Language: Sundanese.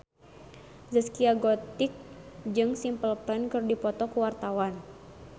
Zaskia Gotik jeung Simple Plan keur dipoto ku wartawan